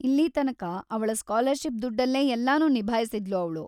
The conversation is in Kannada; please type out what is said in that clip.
ಇಲ್ಲಿ ತನಕ ಅವಳ ಸ್ಕಾಲರ್‌ಷಿಪ್‌ ದುಡ್ಡಲ್ಲೇ ಎಲ್ಲನೂ ನಿಭಾಯಿಸ್ತಿದ್ಲು ಅವ್ಳು.